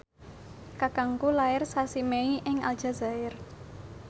kakangku lair sasi Mei ing Aljazair